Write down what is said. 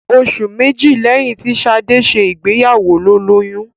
Oṣù méjì lẹ́yìn tí Ṣadé ṣe ìgbéyàwó ló lóyún.